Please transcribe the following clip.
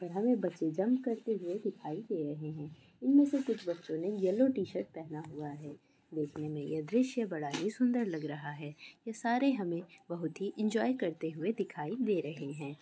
हमे बच्चे जंप करते हुए दिखाई दे रहे है इनमे से कुछ बच्चे येल्लो टी-शर्ट पहना हुआ है देखने में ये दृश्य बड़ा ही सुंदर लग रहा है ये सारे हमे बहुत ही एंजौय करते हुए दिखाई दे रहे है ।